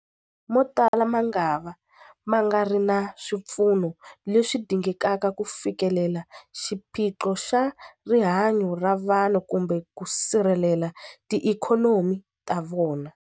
Motala mangava ma nga ri na swipfuno leswi dingekaka ku fikelela xiphiqo xa rihanyu ra vanhu kumbe ku sirhelela tiikhonomi ta vona.